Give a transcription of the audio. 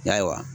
Ayiwa